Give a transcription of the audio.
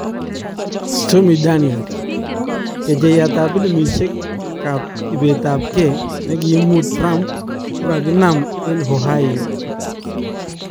Stormy Daniels : Kecheiyatab pilimisyeekab ibeetab kee nekimuu Trump kokaninaam en Ohio